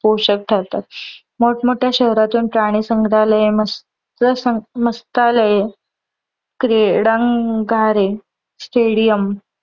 पोषक ठरतात. मोठं मोठ्या शहरातुन प्राणी संग्रहालय, मस्त्यालये क्रीडांगणे stadium पोषक ठरतात.